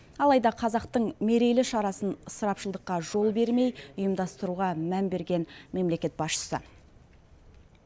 алайда қазақтың мерейлі шарасын ысырапшылдыққа жол бермей ұйымдастыруға мән берген мемлекет басшысы